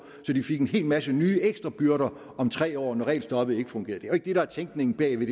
så de fik en hel masse nye ekstra byrder om tre år når regelstoppet ikke fungerer jo ikke det der er tænkningen bag ved